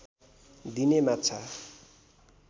दिने माछा